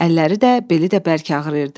Əlləri də, beli də bərk ağrıyırdı.